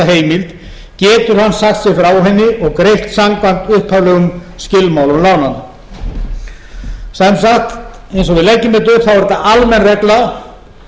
heimild getur hann sagt sig frá henni og greitt samkvæmt upphaflegum skilmálum lánanna sem sagt eins og við leggjum þetta upp er þetta almenn regla